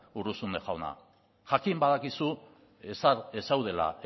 urruzuno jauna jakin badakizu ez zaudela